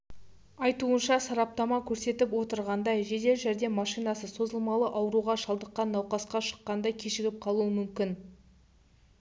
айтуынша сараптама көрсетіп отырғандай жедел жәрдем машинасы созылмалы ауруға шалдыққан науқасқа шыққанда кешігіп қалуы мүмкін